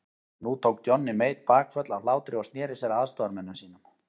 Nú tók Johnny Mate bakföll af hlátri og sneri sér að aðstoðarmönnum sínum.